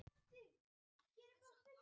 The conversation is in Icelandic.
Dröfn, hvernig er veðrið úti?